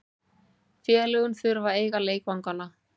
Félögin þurfa að eiga leikvangana.